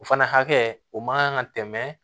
O fana hakɛ o man kan ka tɛmɛ